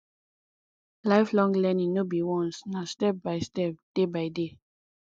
lifelong learning no be once na step by step day by day